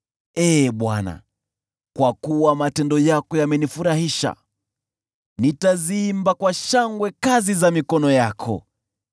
Ee Bwana , kwa kuwa matendo yako yamenifurahisha, nitaziimba kwa shangwe kazi za mikono yako.